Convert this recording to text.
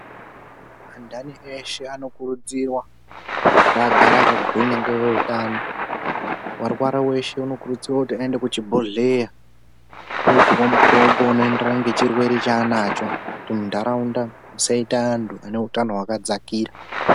Anthani eshe anokurudzirwa kuti agare akagwinya ngeveutano. Warwara weshe anokurudzirwa kuti aende kuchibhedhlera, oopuwa mutombo unoenderana ngechirwere chaananacho, kuti muntaraunda musaite anthu ane utano wakadzakira.